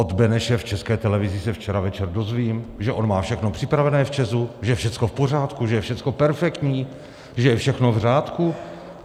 Od Beneše v České televizi se včera večer dozvím, že on má všechno připravené v ČEZu, že je všechno v pořádku, že je všechno perfektní, že je všechno v řádku.